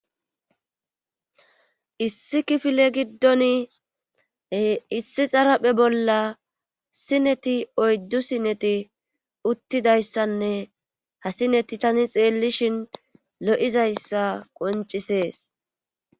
Issi kifile giddon issi xaraphe bolla sineti oyddu sineti uttidayssanne ha sineti tani xeellishin lo7izayssa qoncisees.